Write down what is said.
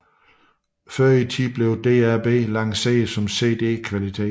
Før i tiden blev DAB lanceret som CD kvalitet